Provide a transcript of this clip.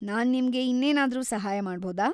ನಾನ್‌ ನಿಮ್ಗೆ ಇನ್ನೇನಾದ್ರೂ ಸಹಾಯ ಮಾಡ್ಬೌದಾ?